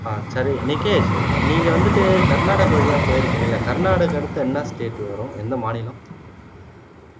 ஆஹ் சரி எனக்கு நீங்க வந்துட்டு கர்நாடகா வழியா போயிருக்கீங்கல்ல கர்நாடகாக்கு அடுத்து என்ன state வரும் என்ன மாநிலம்